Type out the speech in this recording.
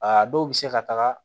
A dɔw bɛ se ka taga